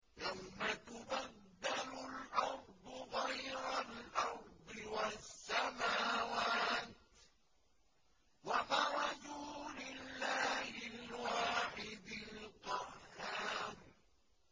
يَوْمَ تُبَدَّلُ الْأَرْضُ غَيْرَ الْأَرْضِ وَالسَّمَاوَاتُ ۖ وَبَرَزُوا لِلَّهِ الْوَاحِدِ الْقَهَّارِ